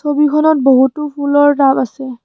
ছবিখনত বহুতো ফুলৰ টাব আছে।